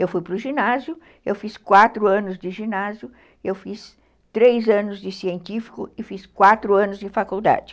Eu fui para o ginásio, eu fiz quatro anos de ginásio, eu fiz três anos de científico e fiz quatro anos de faculdade.